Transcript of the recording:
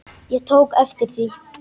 Ég tók eftir því.